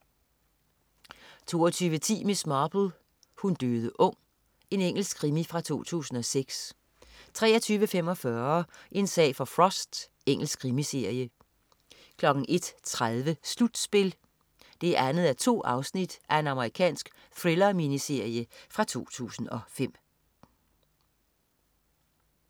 22.10 Miss Marple: Hun døde ung. Engelsk krimi fra 2006 23.45 En sag for Frost. Engelsk krimiserie 01.30 Slutspil 2:2. Amerikansk thriller-miniserie fra 2005